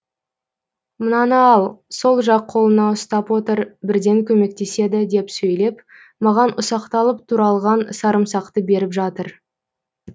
мынаны ал сол жақ қолыңа ұстап отыр бірден көмектеседі деп сөйлеп маған ұсақталып туралған сарымсақты беріп жатыр